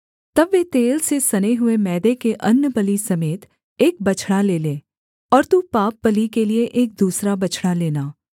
तब वे तेल से सने हुए मैदे के अन्नबलि समेत एक बछड़ा ले लें और तू पापबलि के लिये एक दूसरा बछड़ा लेना